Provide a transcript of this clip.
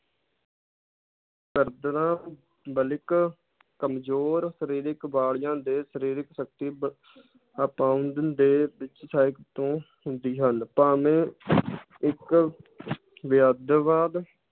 ਬਾਲਿਕ ਕਮਜ਼ੋਰ ਸ਼ਰੀਰਿਕ ਵਾਲਿਆਂ ਦੇ ਸ਼ਰੀਰਿਕ ਸ਼ਕਤੀ ਤੋਂ ਹੁੰਦੀ ਹਨ ਭਾਵੇਂ ਇੱਕ